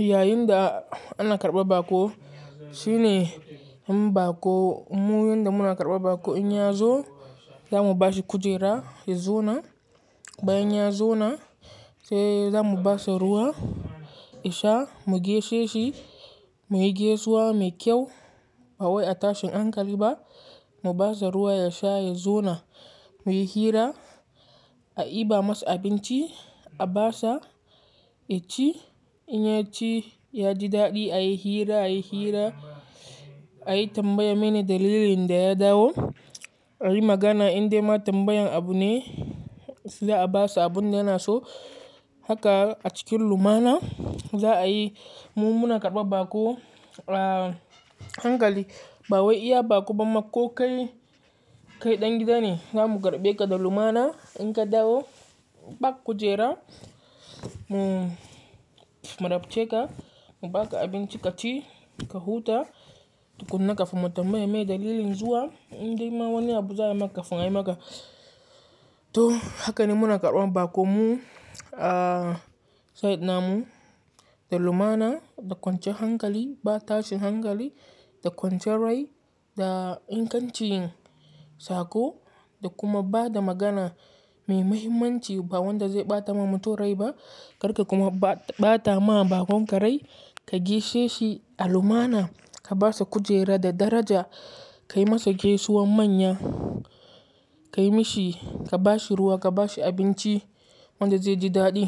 Yayin da ana karɓar baƙo shine, mun baƙo, mun yana karɓar baƙo in ya zo, za mu bashi kujera ya zauna. Bayin ya zauna sai za mu basa ruwa, ya sha mu gaishe shi, muyi gaisuwa mai kyau. Ba wai a tashin hankali ba, mu basa ruwa ya sha, ya zauna muyi hira, a iba masa abinci, a basa, ya ci. In ya ci ya ji daɗi a yi hira, a yi hira, a yi tambaya mene dalilin da ya dawo. A yi magana indai ma tambayan abu ne za a basa abun da yana so. Haka a cikin lumana za a yi. Mu muna karɓar baƙo, a hankali. Ba wai iya baƙo ba makko kai, kai ɗan gida ne. Za mu karɓe ka da lumana, in ka dawo ba kujera mu rabce ka, mu baka abinci ka ci ka huta. Tukunna ka fimar tambayi me dalilin zuwa indai ma wani abu za a maka, fimai maka. To haka ne muna karɓan baƙo mu, a sai da lumana da kwancan hankali. Ba tashin hankali da kwancan rai da ingancin saƙo da kuma bada magana mai mahimmanci ba wanda zai ɓata ma mutum rai ba. Karka kuma ɓata ma bakon ka rai, ka gaishe shi a lumana, ka basa kujera da daraja, ka yi masa gaisuwan manya, ka yi mishi, ka ba shi ruwa, ka ba shi abinci wanda zai ji daɗi.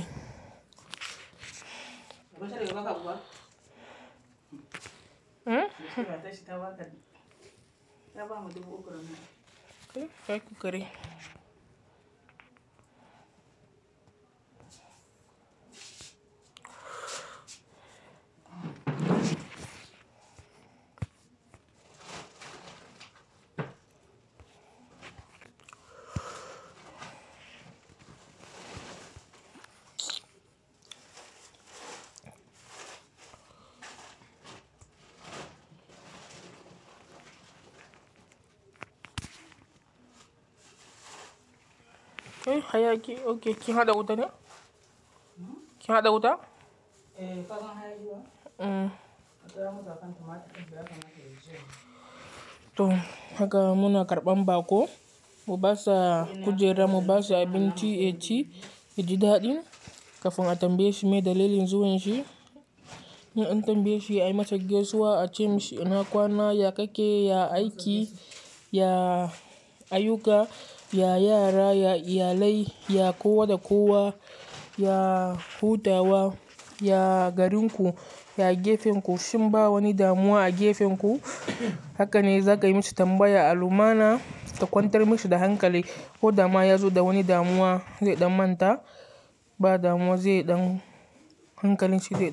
Kai har kiyi hada wuta ne? Kin hada wuta? To haka muna karɓan baƙo, mu basa kujera, mu basa abinci ya ci, ya ji daɗin kafin a tambaye shi me dalilin zuwan shi. In an tambaye shi a yi masa gaisuwa, a ce masa ina kwana, ya kake, ya aiki, ya ayuka, ya yara, ya iyalai, ya kowa da kowa, ya hutawa, ya garin ku, ya gefen ku. Shin ba wani damuwa a gefen ku? Haka ne za ka yi masa tambaya a lumana ka kwantar masa da hankali. Ko dama ya zo da wani damuwa zai ɗan manta, ba damuwa zai ɗan hankalin shi zai.